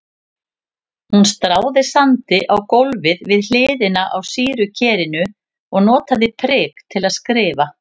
Hún stráði sandi á gólfið við hliðina á sýrukerinu og notaði prik til að skrifa.